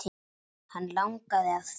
Hann langaði að fljúga.